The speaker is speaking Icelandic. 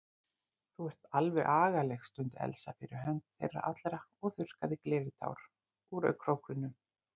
Þú ert alveg agaleg stundi Elsa fyrir hönd þeirra allra og þurrkaði gleðitár úr augnkrókunum.